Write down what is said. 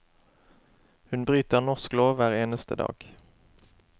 Hun bryter norsk lov hver eneste dag.